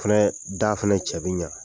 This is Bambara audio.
Fɛnɛ, da fɛnɛ cɛ bi ɲa.